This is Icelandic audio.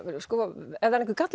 er einhver